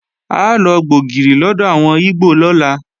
A lọ gba ògìrì lọ́dọ̀ àwọn ígbò lọ́la